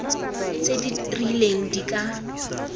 tse di rileng di ka